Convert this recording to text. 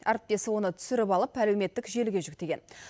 әріптесі оны түсіріп алып әлеуметтік желіге жүктеген